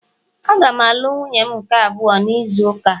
Aga m alụ nwunye m nke abụọ n'izu ụka a